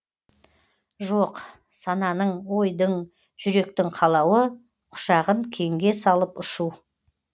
жоқ сананың ойдың жүректің қалауы құшағын кеңге салып ұшу